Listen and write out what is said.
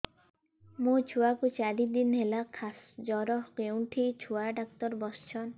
ମୋ ଛୁଆ କୁ ଚାରି ଦିନ ହେଲା ଖାସ ଜର କେଉଁଠି ଛୁଆ ଡାକ୍ତର ଵସ୍ଛନ୍